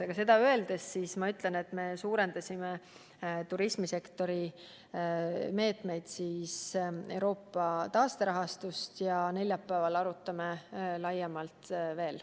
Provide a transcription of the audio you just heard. Aga ma kinnitan, et me suurendasime turismisektori meetmeid Euroopa taasterahastut kasutades ja neljapäeval arutame seda kõike laiemalt.